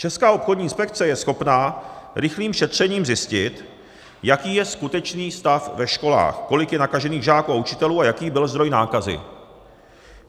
Česká obchodní inspekce je schopná rychlým šetřením zjistit, jaký je skutečný stav ve školách, kolik je nakažených žáků a učitelů a jaký byl zdroj nákazy.